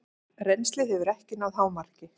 Rennslið hefur ekki náð hámarki.